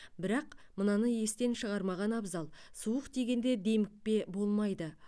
бірақ мынаны естен шығармаған абзал суық тигенде демікпе болмайды